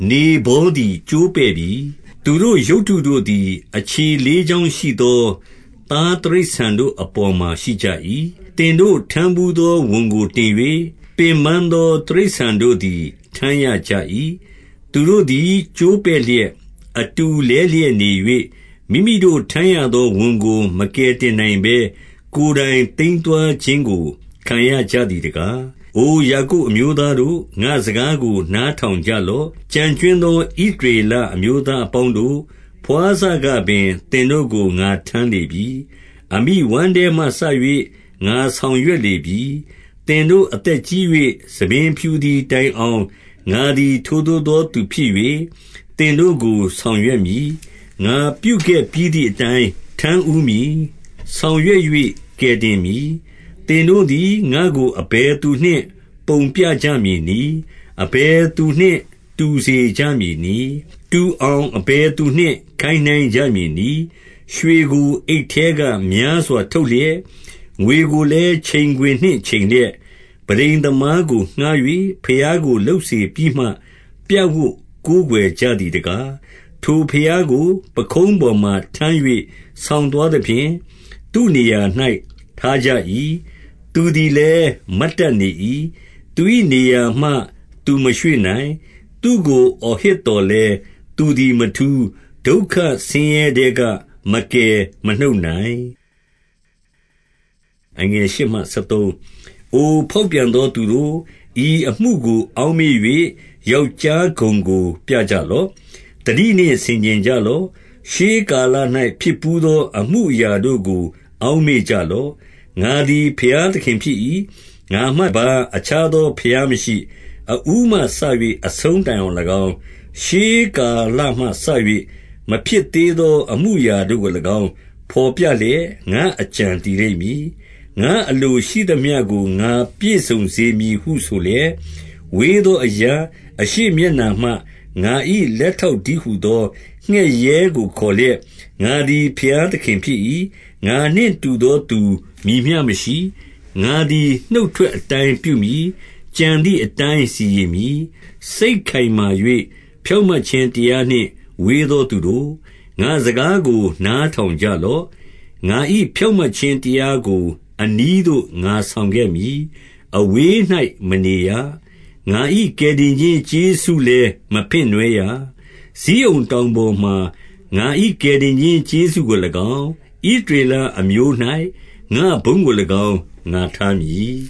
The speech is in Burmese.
နေဗောသည် ကျိုးပဲ့ပြီ။ သူတို့ ရုပ်တုတို့သည် အခြေလေးချောင်းရှိသော သားတိရစ္ဆာန် တို့ အပေါ်မှာ ရှိကြ၏။ သင်တို့ ထမ်းဘူးသော ဝန်ကို တင်၍၊ ပင်ပန်းသော တိရစ္ဆာန်တို့သည် ထမ်းရကြ၏။ သူတို့သည် ကျိုးပဲ့လျက်၊ အတူလဲလျက်နေ၍၊ မိမိတို့ ထမ်းရသော ဝန်ကို မကယ်တင်နိုင်ဘဲ၊ ကိုယ်တိုင် သိမ်းသွားခြင်းကို ခံရကြသည်တကား။ အိုယာကုပ်အမျိုးသားတို့၊ ငါ့စကားကို နား ထောင်ကြလော့။ ကျန်ကြွင်းသော ဣသရေလအမျိုးသား အပေါင်းတို့၊ ဘွားစကပင် သင်တို့ကို ငါထမ်းလေပြီ။ အမိ ဝမ်းထဲမှစ၍ ငါဆောင်ရွက်လေပြီ။ သင်တို့အသက်ကြီး၍ ဆံပင်ဖြူသည်တိုင် အောင်၊ ငါသည် ထိုသို့သော သူဖြစ်၍၊ သင်တို့ကို ဆောင် ရွက်မည်။ ငါပြုခဲ့ပြီးသည်အတိုင်း ထမ်းဦးမည်။ ဆောင် ရွက်၍ ကယ်တင်မည်။ သင်တို့သည် ငါ့ကို အဘယ်သူနှင့် ပုံပြကြမည် နည်း။ အဘယ်သူနှင့် တူစေကြမည်နည်း။ တူအောင် အဘယ်သူနှင့် ခိုင်းနှိုင်းကြမည်နည်း။ ရွှေကို အိတ်ထဲက များစွာ ထုတ်လျက်၊ ငွေကို လည်း ချိန်ခွင်နှင့်ချိန်လျက်၊ ပန်းတိန်သမားကို ငှါး၍ ဘုရားကို လုပ်စေပြီးမှ၊ ပြပ်ဝပ်ကိုးကွယ်ကြသည်တကား။ ထိုဘုရားကို ပခုံးပေါ်မှာ ထမ်း၍ ဆောင်သွား သဖြင့် သူ့နေရာ၌ ထားကြ၏။ သူသည်လည်း မတ်တတ် နေ၏။ သူ၏နေရာမှ သူမရွေ့နိုင်။ သူ့ကို အော်ဟစ် သော်လည်း၊ သူသည် မထူး။ ဒုက္ခဆင်းရဲထဲက မကယ် မနှုတ်နိုင်။ အိုဖောက်ပြန်သောသူတို့၊ ဤအမှုကို အောက် မေ့၍ ယောက်ျားဂုဏ်ကို ပြကြလော့။ သတိနှင့် ဆင်ခြင်ကြလော့။ ရှေးကာလ၌ ဖြစ်ဘူးသော အမှုအရာတို့ကို အောက်မေ့ကြလော့။ ငါသည် ဘုရား သခင်ဖြစ်၏။ ငါမှတပါး အခြားသော ဘုရားမရှိ။ အဦးမှစ၍ အဆုံးတိုင်အောင်၎င်း၊ ရှေးကာလမှ စ၍ မဖြစ်သေးသော အမူအရာတို့ကို၎င်း ဘော်ပြလျက်၊ ငါ့အကြံတည်လိမ့်မည်။ ငါ့အလိုရှိသမျှကို ငါပြည့်စုံစေမည် ဟု ဆိုလျက်၊ ဝေးသောအရပ်၊ အရှေ့မျက်နှာမှ ငါ၏လက် ထောက်တည်းဟူသော ငှက်ရဲကို ခေါ်လျက်၊ ငါသည် ဘုရားသခင်ဖြစ်၏။ ငါနှင့်တူသော မည်မျှမရှိ။ ငါသည် နှုတ်ထွက်အတိုင်းပြုမည်။ ကြံသည်အတိုင်း စီရင်မည်။ စိတ်ခိုင်မာ၍ ဖြောင့်မတ်ခြင်း တရားနှင့် ဝေး သောသူတို့၊ ငါ့စကားကို နားထောင်ကြလော့။ ငါ၏ဖြောင့်မတ်ခြင်းတရားကို အနီးသို့ ငါ ဆောင်ခဲ့မည်။ အဝေး၌မနေရ။ ငါ၏ကယ်တင်ခြင်း ကျေးဇူးလည်း မဖင့်နွှဲရ။ ဇိအုန်တောင်ပေါ်မှာ ငါ၏ ကယ်တင်ခြင်း ကျေးဇူးကို၎င်း၊ ဣသရေလအမျိုး၌ ငါ့ဘုန်းကို၎င်း ငါထားမည်